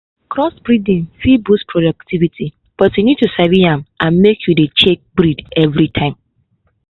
crossbreeding fit boost productivity but you need to sabi am and make you dey check the breed everytime.